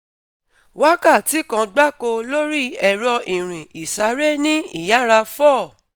wakati kan gbako lori ẹ̀rọ ìrìn isare ni iyara four